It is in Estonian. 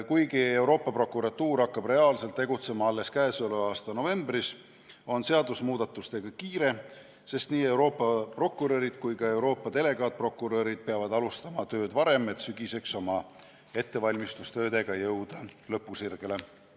Kuigi Euroopa Prokuratuur hakkab reaalselt tegutsema alles käesoleva aasta novembris, on seadusemuudatustega kiire, sest nii Euroopa prokurörid kui ka Euroopa delegaatprokurörid peavad alustama tööd varem, et sügiseks oma ettevalmistustöödega lõpusirgele jõuda.